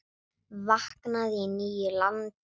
Vaknaði í nýju landi.